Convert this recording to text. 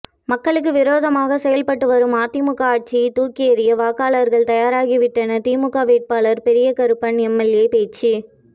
மக்களுக்கு விரோதமாக செயல்பட்டு வரும் அதிமுக ஆட்சியை தூக்கி எறிய வாக்காளர்கள் தயாராகிவிட்டனர் திமுக வேட்பாளர் பெரியகருப்பன் எம்எல்ஏ பேச்சு